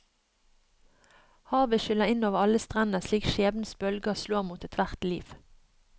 Havet skyller inn over alle strender slik skjebnens bølger slår mot ethvert liv.